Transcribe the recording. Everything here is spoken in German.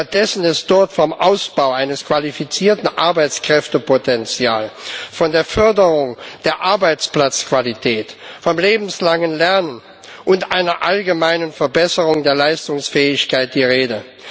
Stattdessen ist dort vom Ausbau eines qualifizierten Arbeitskräftepotenzials, von der Förderung der Arbeitsplatzqualität, von lebenslangem Lernen und einer allgemeinen Verbesserung der Leistungsfähigkeit die Rede.